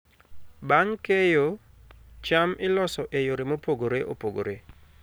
Bang' keyo, cham iloso e yore mopogore opogore.